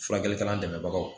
Furakɛlikɛla dɛmɛbaga